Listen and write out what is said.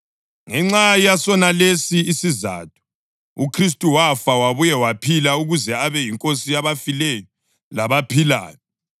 Ngenxa yasonalesi isizatho, uKhristu wafa, wabuya waphila ukuze abe yiNkosi yabafileyo labaphilayo.